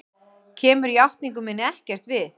Kemur játningu minni ekkert við.